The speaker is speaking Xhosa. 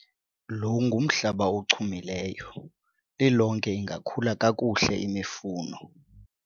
lo ngumhlaba ochumileyo, lilonke ingakhula kakuhle imifuno